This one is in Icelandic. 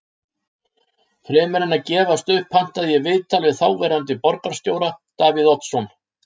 Fremur en að gefast upp pantaði ég viðtal við þáverandi borgarstjóra, Davíð Oddsson.